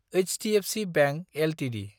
HDFC bank Ltd